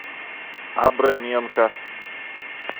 абраменко